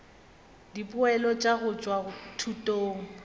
dipoelo tša go tšwa thutong